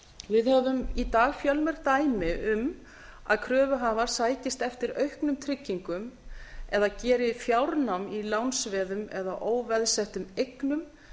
við höfum í dag fjölmörg dæmi um að kröfuhafar sækist eftir auknum tryggingum eða geri fjárnám í lánsveðum eða óveðsettum eignum